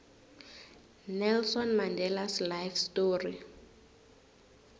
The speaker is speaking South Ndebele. nelson mandelas life story